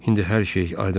İndi hər şey aydın oldu.